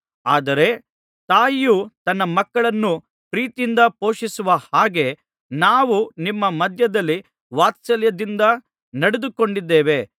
ಆದರೆ ತಾಯಿಯೂ ತನ್ನ ಮಕ್ಕಳನ್ನು ಪ್ರೀತಿಯಿಂದ ಪೋಷಿಸುವ ಹಾಗೆ ನಾವು ನಿಮ್ಮ ಮಧ್ಯದಲ್ಲಿ ವಾತ್ಸಲ್ಯದಿಂದ ನಡೆದುಕೊಂಡಿದ್ದೇವೆ